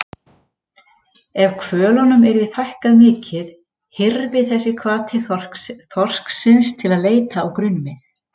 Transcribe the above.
Ef hvölunum yrði fækkað mikið hyrfi þessi hvati þorsksins til að leita á grunnmið.